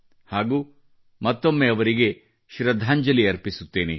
ನಾನು ಮತ್ತೊಮ್ಮೆ ಅವರಿಗೆ ಶ್ರದ್ಧಾಂಜಲಿ ಅರ್ಪಿಸುತ್ತೇನೆ